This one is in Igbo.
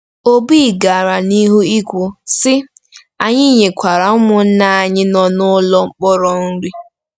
Obi gara n'ihu ikwu, sị: “Anyị nyekwara ụmụnna anyị nọ n'ụlọ mkpọrọ nri.